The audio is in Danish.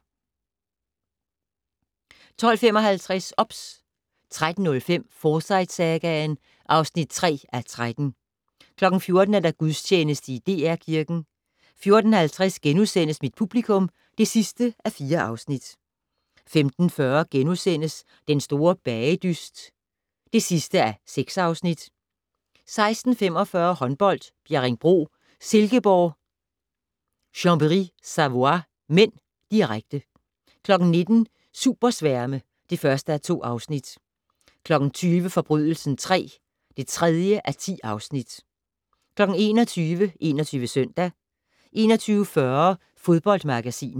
12:55: OBS 13:05: Forsyte-sagaen (3:13) 14:00: Gudstjeneste i DR Kirken 14:50: Mit publikum (4:4)* 15:40: Den store bagedyst (6:6)* 16:45: Håndbold: Bjerringbro Silkeborg-Chambery Savoie (m), direkte 19:00: Supersværme (1:2) 20:00: Forbrydelsen III (3:10) 21:00: 21 Søndag 21:40: Fodboldmagasinet